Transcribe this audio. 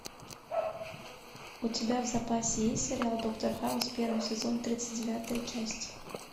у тебя в запасе есть сериал доктор хаус первый сезон тридцать девятая часть